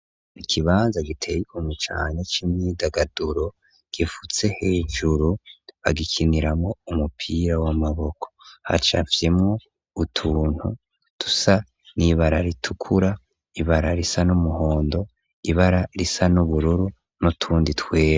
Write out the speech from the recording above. Ikibanza gitega umucanye c'imwidagaduro gifutse hejuru bagikiniramo umupira w'amaboko hacavyemwo utuntu dusa ni'ibara ritukura ibara risa n'umuhondo ibara risa n'ubururu no tundi twera.